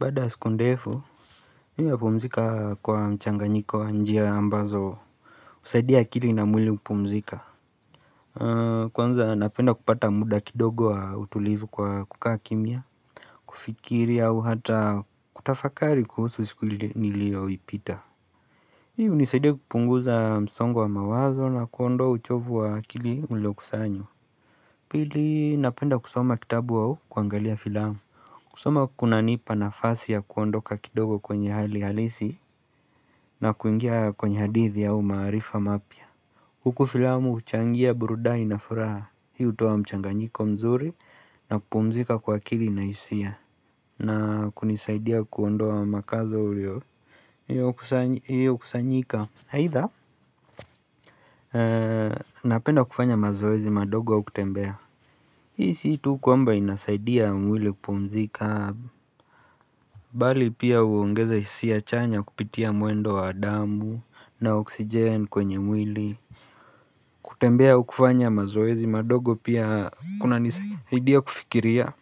Baada ya siku ndefu, mimi hupumzika kwa mchanganyiko ya njia ambazo husaidia akili na mwili kupumzika. Kwanza napenda kupata muda kidogo wa utulivu kwa kukaa kimya, kufikiri au hata kutafakari kuhusu siku niliyoipita. Hii hunisaidia kupunguza msongo wa mawazo na kuondoa uchovu wa akili uliokusanywa. Pili napenda kusoma kitabu au kuangalia filamu. Kusoma kunanipa nafasi ya kuondoka kidogo kwenye hali halisi na kuingia kwenye hadithi au maarifa mapya. Huku filamu huchangia burudani na furaha, hii hutoa mchanganyiko mzuri na kupumzika kwa akili na hisia na kunisaidia kuondoa makazo iliyokusanyika. Aidha Napenda kufanya mazoezi madogo au kutembea. Hii si tu kwamba inasaidia mwili kupumzika Bali pia huongeza hisia chanya kupitia mwendo wa damu na oksijen kwenye mwili kutembea au kufanya mazoezi madogo pia kunanisaidia kufikiria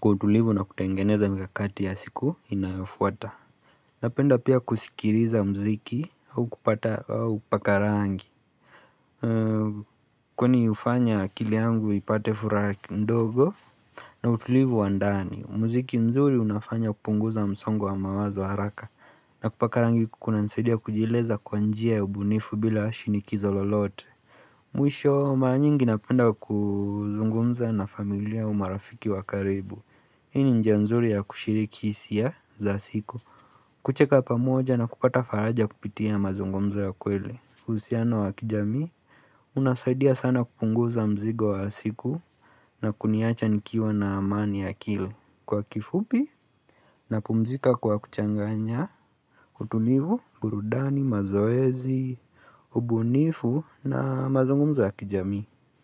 kwa utulivu na kutengeneza mikakati ya siku inayofuata. Napenda pia kusikiliza muziki au kupata, au kupaka rangi. Kwani hufanya akili yangu ipate furaha ndogo na utulivu wa ndani. Muziki mzuri unafanya kupunguza msongo wa mawazo haraka. Na kupaka rangi kunansaidia kujieleza kwa njia ya ubunifu bila shinikizo lolote Mwisho, mara nyingi napenda kuzungumza na familia au marafiki wa karibu. Hii ni njia nzuri ya kushiriki hisia za siku. Kucheka pamoja na kupata faraja kupitia mazungumzo ya ukweli. Uhusiano wa kijamii unasaidia sana kupunguza mzigo wa siku na kuniacha nikiwa na amani akili. Kwa kifupi napumzika kwa kuchanganya utulivu, burudani, mazoezi, ubunifu na mazungumzo ya kijamii.